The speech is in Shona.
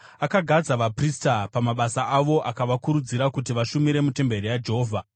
Akagadza vaprista pamabasa avo akavakurudzira kuti vashumire mutemberi yaJehovha.